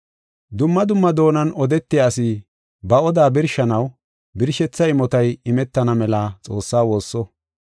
Dumma dumma doonan odetiya asi ba odaa birshanaw birshetha imotay imetana mela Xoossaa woosso.